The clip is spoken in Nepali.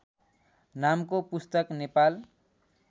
नामको पुस्तक नेपाल